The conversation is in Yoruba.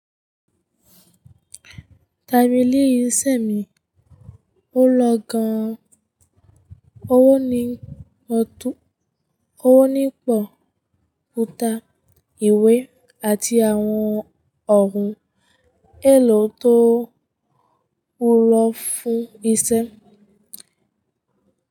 Tábìlì iṣẹ́ mi ó lọ gan-an. Ó nípọ̀ kùtà, ìwé, àti àwọn ọ̀hún èlò tó wúlọ̀ fún iṣẹ́.